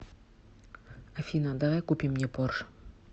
афина давай купим мне порш